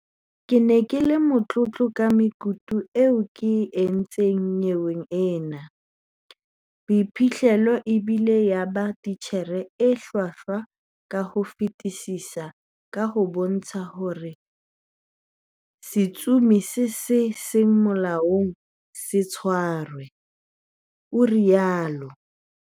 "Ke ne ke le motlotlo ka mekutu eo ke e entseng nyeweng ena, boiphihlelo e ile ya ba titjhere e hlwahlwa ka ho fetisisa kaha bo entse hore setsomi se seng molaong se tshwarwe," o ile a rialo.